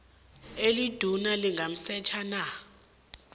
eliduna lingamsetjha na